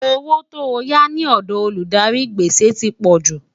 owó tó yá ní òdò Olùdarí gbèsè tí pojú